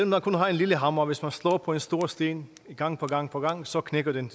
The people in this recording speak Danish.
man kun har en lille hammer og slår på en stor sten gang på gang på gang så knækker den